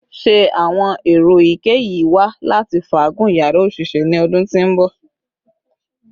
Ṣe awọn ero eyikeyi wa lati faagun yara oṣiṣẹ ni ọdun ti n bọ?